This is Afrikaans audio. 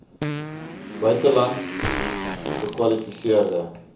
buitelands gekwali seerde